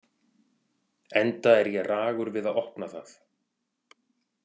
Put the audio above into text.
Enda er ég ragur við að opna það.